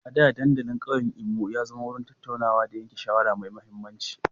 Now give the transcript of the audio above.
A da, dandalin ƙauyen Imo ya zama wurin tattaunawa da yanke shawara mai mahimmanci.